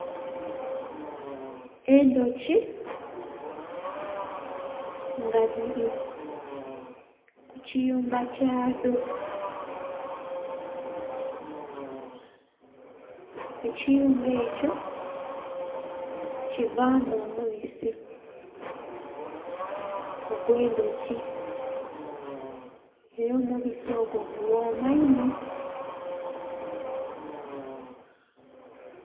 Endhuki nga dhiri ku kiyumba kyadho, ekiyumba ekyo kivaamu omubisi ogw'endhuki era omubisi ogwo gughoma inho.